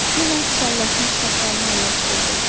Yenə çallaşmış saqqalını əyləşdirdi.